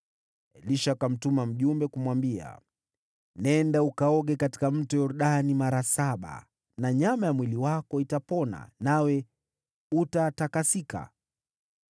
Elisha akamtuma mjumbe kumwambia, “Nenda uoge katika Yordani mara saba, na nyama ya mwili wako itapona, nawe utatakasika.”